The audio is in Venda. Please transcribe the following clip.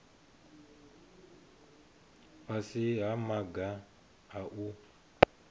fhasi ha maga a u